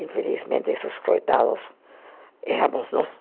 Infelizmente, esses coitados éramos nós.